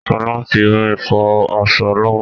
Sọlá ń fi omi fọ aṣọ lọ́wọ́